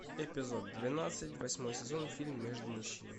эпизод двенадцать восьмой сезон фильм между мужчинами